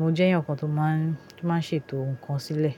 Mo jẹ́ ẹ̀yàn kan tó máa ń, tó máa ń ṣètò ǹkan sílẹ̀.